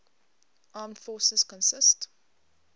armed forces consist